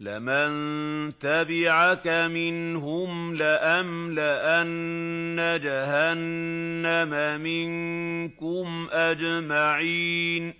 لَّمَن تَبِعَكَ مِنْهُمْ لَأَمْلَأَنَّ جَهَنَّمَ مِنكُمْ أَجْمَعِينَ